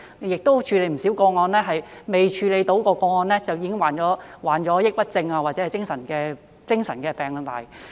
在過往處理的不少個案中，未處理到的個案的相關人士便已經患上抑鬱症或者精神病。